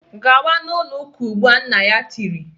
"Gawa n'ụlọ ụka ugbu a! Nna ya tiri